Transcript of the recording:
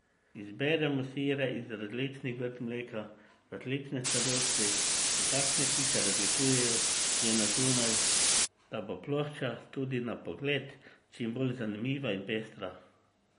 Izberemo sire iz različnih vrst mleka, različne starosti in takšne, ki se razlikujejo že na zunaj, da bo plošča tudi na pogled čim bolj zanimiva in pestra.